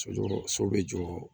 Sojɔ so bɛ jɔ